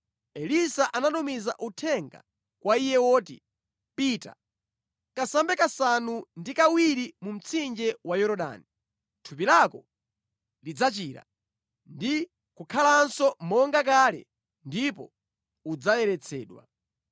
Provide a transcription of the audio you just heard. Elisa anatumiza uthenga kwa iye woti, “Pita, kasambe kasanu ndi kawiri mu mtsinje wa Yorodani, thupi lako lidzachira ndi kukhalanso monga kale ndipo udzayeretsedwa.”